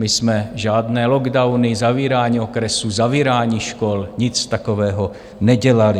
My jsme žádné lockdowny, zavírání okresů, zavírání škol, nic takového nedělali.